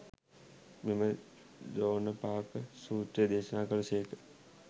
මෙම දෝණපාක සූත්‍රය දේශනා කළ සේක.